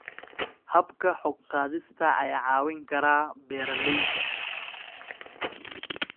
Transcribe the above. Habka xog-qaadista ayaa caawin kara beeralayda.